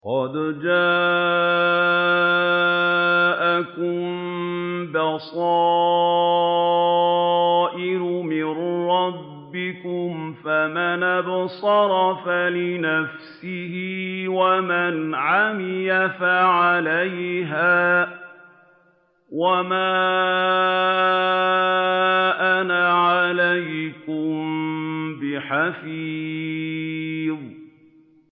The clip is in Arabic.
قَدْ جَاءَكُم بَصَائِرُ مِن رَّبِّكُمْ ۖ فَمَنْ أَبْصَرَ فَلِنَفْسِهِ ۖ وَمَنْ عَمِيَ فَعَلَيْهَا ۚ وَمَا أَنَا عَلَيْكُم بِحَفِيظٍ